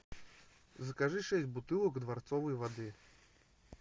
закажи шесть бутылок дворцовой воды